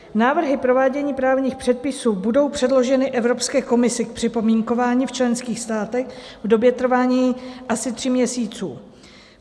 Návrhy provádění právních předpisů budou předloženy Evropské komisi k připomínkování v členských státech v době trvání asi tří měsíců.